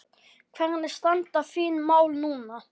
Hvernig standa þín mál núna?